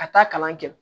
Ka taa kalan kɛ